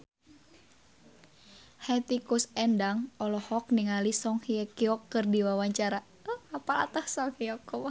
Hetty Koes Endang olohok ningali Song Hye Kyo keur diwawancara